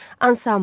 Ansambl.